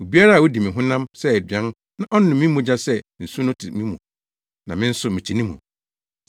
Obiara a odi me honam sɛ aduan na ɔnom me mogya sɛ nsu no te me mu, na me nso mete ne mu.